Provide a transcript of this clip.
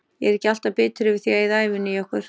Ég er ekki alltaf bitur yfir því að eyða ævinni í okkur.